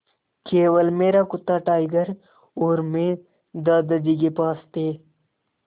केवल मेरा कुत्ता टाइगर और मैं दादाजी के पास थे